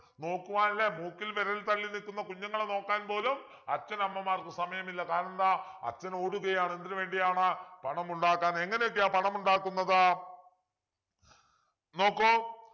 നോക്കുവാൻ ല്ലേ മൂക്കിൽ വിരൽ തള്ളി നിക്കുന്ന കുഞ്ഞുങ്ങളെ നോക്കാൻ പോലും അച്ഛനമ്മമാർക്ക് സമയമില്ല കാരണമെന്താ അച്ഛൻ ഓടുകയാണ് എന്തിനു വേണ്ടിയാണു പണമുണ്ടാക്കാൻ എങ്ങനെയൊക്കെയാ പണമുണ്ടാക്കുന്നത് നോക്കു